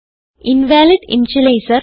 invalid initialiser